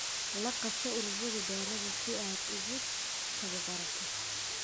La qaybso ururada beeraha si aad u tababarto.